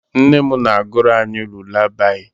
Nne m na-agụrụ anyị lulabaị.